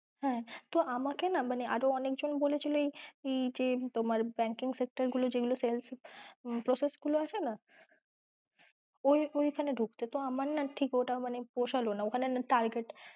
হ্যাঁ তো আমাকে না আরো অনেকজন বলেছিলো যে এই যে banking sector গুলো যেগুলো sales process গুলো আছে না ওইখানে ঢুকতে তো আমার না ঠিক ওটা মানে পোষালো না ওখানে না target